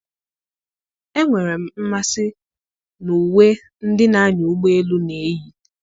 Enwere m mmasị na uwe ndị na-anya ụgbọ elu na-eyi.